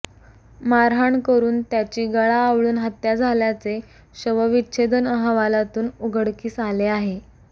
मारहाण करुन त्याची गळा आवळून हत्या झाल्याचे शवविच्छेदन अहवालातून उघडकीस आले आहे